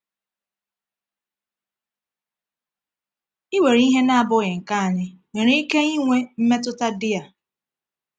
Iwere ihe na-abụghị nke anyị nwere ike inwe mmetụta dị a?